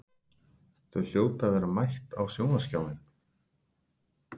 Þau hljóta að vera mætt á sjónvarpsskjáinn.